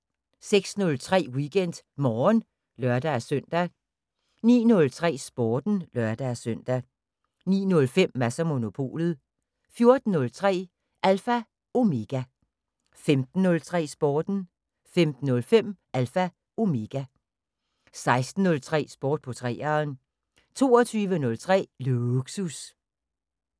06:03: WeekendMorgen (lør-søn) 09:03: Sporten (lør-søn) 09:05: Mads & Monopolet 14:03: Alpha Omega 15:03: Sporten 15:05: Alpha Omega 16:03: Sport på 3'eren 22:03: Lågsus